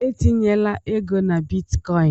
Etinyela ego na Bitcoin!